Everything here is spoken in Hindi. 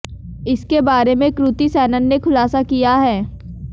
इसके बारे में कृति सैनन ने खुलासा किया है